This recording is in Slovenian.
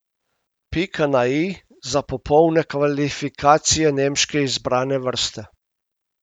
Pika na i za popolne kvalifikacije nemške izbrane vrste ...